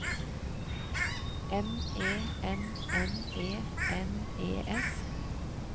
M E N N E N E S